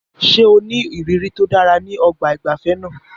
Ṣé o ní ìrírí tó dára ní ọgbà ìgbafẹ́ náà?